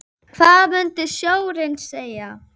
Eru fleiri reynsluboltar í liðinu?